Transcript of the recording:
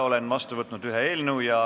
Olen vastu võtnud ühe eelnõu.